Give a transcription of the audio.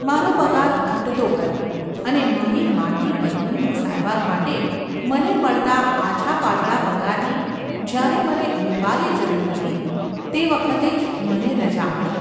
મારો પગાર ઘટતો ગયો અને મારી માંદી પત્નીની સારવાર માટે મને મળતા આછાપાતળા પગારની જ્યારે મને અનિવાર્ય જરૂર હતી તે વખતે જ મને રજા મળી.